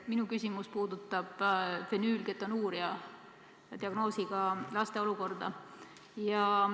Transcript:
Minu küsimus puudutab fenüülketonuuria diagnoosiga laste olukorda.